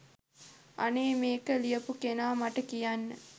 අනේ මේක ලියපු කෙනා මට කියන්න